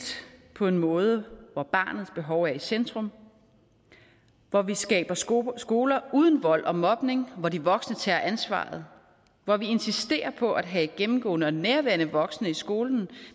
på en måde hvor barnets behov er i centrum hvor vi skaber skoler skoler uden vold og mobning hvor de voksne tager ansvaret hvor vi insisterer på at have gennemgående og nærværende voksne i skolen